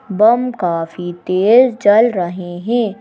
बम काफी तेज जल रहे हैं।